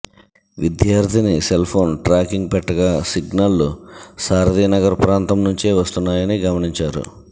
విద్యార్థిని cellphone tracking పెట్టగా సిగ్నళ్లు సారథినగర్ ప్రాంతం నుంచే వస్తున్నాయని గమనించారు